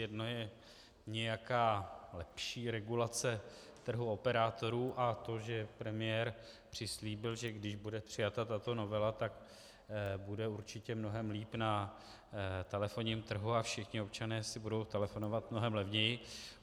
Jedna je nějaká lepší regulace trhu operátorů a to, že premiér přislíbil, že když bude přijata tato novela, tak bude určitě mnohem líp na telefonním trhu a všichni občané si budou telefonovat mnohem levněji.